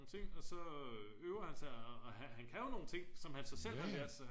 ting og så øver han så og han kan jo nogle ting som han så selv har lært sig